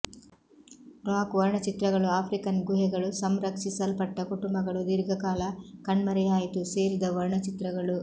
rock ವರ್ಣಚಿತ್ರಗಳು African ಗುಹೆಗಳು ಸಂರಕ್ಷಿಸಲ್ಪಟ್ಟ ಕುಟುಂಬಗಳು ದೀರ್ಘಕಾಲ ಕಣ್ಮರೆಯಾಯಿತು ಸೇರಿದ ವರ್ಣಚಿತ್ರಗಳು